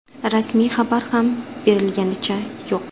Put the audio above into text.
Rasmiy xabar ham berilganicha yo‘q.